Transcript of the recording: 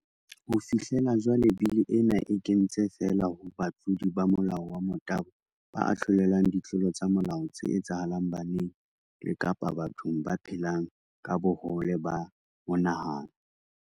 Ho fihlela jwale, bili ena e kentse feela ho batlodi ba molao wa motabo ba ahlolelwang ditlolo tsa molao tse etsahalang baneng le kapa bathong ba phelang ka bohole ba monahano.